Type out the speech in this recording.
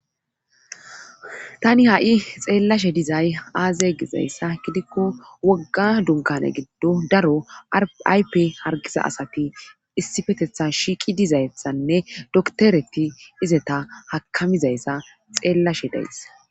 tani ha'i xeellashe dizay aaze gizayssa gidikko wogga dunkane giddo daro aype hargiza asati issifetetha shiiqi dizayethanne doktereti izeta hakamizayssa xeellashe days